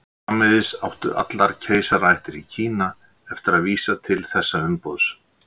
Framvegis áttu allar keisaraættir í Kína eftir að vísa til þessa umboðs.